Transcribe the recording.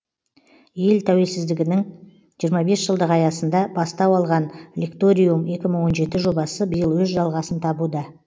ел тәуелсіздігінің жиырма бес жылдығы аясында бастау алған лекториум екі мың он жеті жобасы биыл өз жалғасын табуда